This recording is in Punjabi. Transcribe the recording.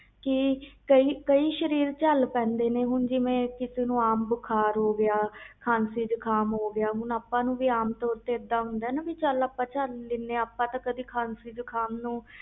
ਕਈ ਸਰੀਰ ਝੱਲ ਲੈਂਦੇ ਆ ਜਿਵੇ ਆਮ ਖਾਂਸੀ ਬੁਖ਼ਾਰ ਹੋ ਗਿਆ ਹੁਣ ਆਪਾ ਨੂੰ ਤੇ ਖਾਸੀ ਬੁਖ਼ਾਰ ਝੱਲ ਲੈਂਦੇ ਆ ਕਦੀ ਖਾਂਸੀ ਬੁਖ਼ਾਰ ਨੂੰ